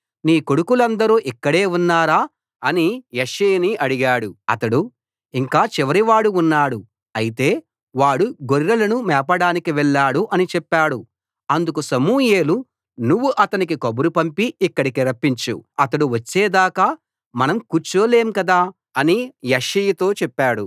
నీ కొడుకులందరూ ఇక్కడే ఉన్నారా అని యెష్షయిని అడిగాడు అతడు ఇంకా చివరివాడు ఉన్నాడు అయితే వాడు గొర్రెలను మేపడానికి వెళ్ళాడు అని చెప్పాడు అందుకు సమూయేలు నువ్వు అతనికి కబురు పంపి ఇక్కడికి రప్పించు అతడు వచ్చేదాకా మనం కూర్చోలేం కదా అని యెష్షయితో చెప్పాడు